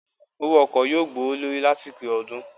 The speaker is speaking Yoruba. Owó ọkọ yóò gbówó lórí lásìkò ọdún